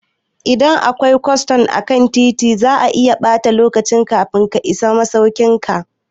Idan akwai cunkoso akan titi, zaka iya ɓata lokaci kafin ka isa masaukin ka.